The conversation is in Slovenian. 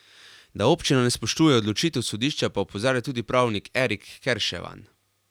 Da občina ne spoštuje odločitev sodišča pa opozarja tudi pravnik Erik Kerševan.